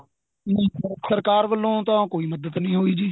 ਨਹੀਂ sir ਸਰਕਾਰ ਵੱਲੋਂ ਤਾਂ ਕੋਈ ਮੱਦਦ ਨਹੀਂ ਹੋਈ ਜੀ